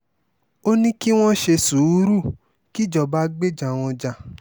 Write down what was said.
ó ní kí wọ́n ṣe sùúrù kíjọba gbéjà wọn já